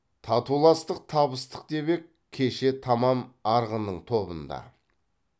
татуластық табыстық деп ек кеше тамам арғынның тобында